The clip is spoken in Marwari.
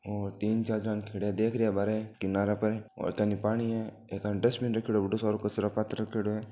और तीन चार जना ने खड़ा देख रहिया है बारे किनारा पर और एकानी पानी है एकानी डस्टबिन रखयोड़ो है बढ़ो सार को कचरा पात्र रखयोड़ो है।